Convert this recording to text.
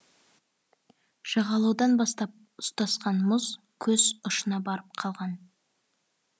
жағалаудан бастап ұстасқан мұз көз ұшына барып қалған